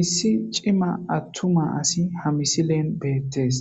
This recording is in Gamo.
Issi c'ima atuma asi ha missilen betes